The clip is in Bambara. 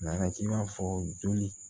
Nana k'i b'a fɔ joli